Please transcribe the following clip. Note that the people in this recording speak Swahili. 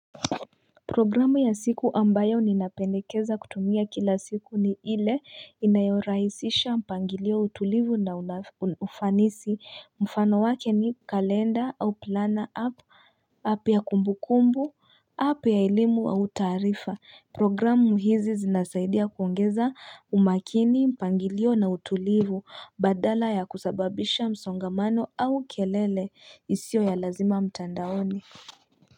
Programu ya siku ambayo ninapendekeza kutumia kila siku ni ile inayorahisisha mpangilio utulivu na unafanisi mfano wake ni kalenda au plana apu app ya kumbukumbu app ya elimu au taarifa programu hizi zinasaidia kuongeza umakini mpangilio na utulivu badala ya kusababisha msongamano au kelele isiyo ya lazima mtandaoni.